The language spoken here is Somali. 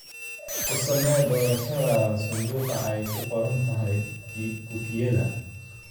Ku samee doorashadaada sanduuqa ay ku qoran tahay Kukiyada.